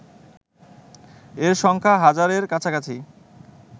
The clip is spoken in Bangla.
এর সংখ্যা হাজারের কাছাকাছি